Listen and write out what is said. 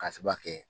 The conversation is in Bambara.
K'a sababu kɛ